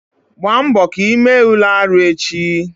Gbaa mbọ ka ị mee Ule arụ echi!